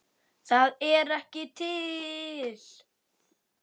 ÞAÐ ER EKKI TIL!!!